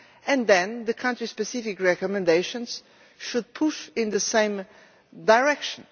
and then the country specific recommendations should push in the same direction.